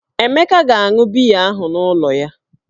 Emeka ga-aṅụ biya ahụ n'ụlọ ya